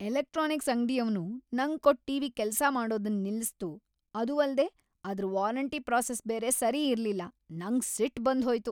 Electronics ಅಂಗಡಿಯವ್ನು ನಂಗ್ ಕೊಟ್ ಟಿವಿ ಕೆಲ್ಸ ಮಾಡೊದನ್ ನಿಲ್ಸಿತು ಅದು ಅಲ್ದೆ ಅದ್ರ ವಾರಂಟಿ ಪ್ರಾಸೆಸ್ ಬೇರೆ ಸರಿ ಇರ್ಲಿಲ್ಲ ನಂಗ್ ಸಿಟ್ ಬಂದ್ ಹೋಯ್ತು.